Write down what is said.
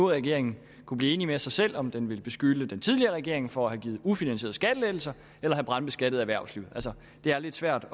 regering kunne blive enig med sig selv om den vil beskylde den tidligere regering for at have givet ufinansierede skattelettelser eller have brandbeskattet erhvervslivet altså det er lidt svært